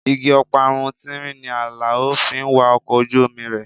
Igi ọparun tínrín ni Alao fi ń wa ọkọ̀ ojú omi rẹ̀.